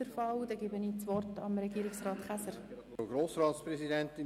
Deshalb erteile ich Regierungsrat Käser das Wort.